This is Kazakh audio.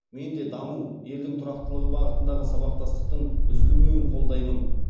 мен де даму елдің тұрақтылығы бағытындағы сабақтастықтың үзілмеуін қолдаймын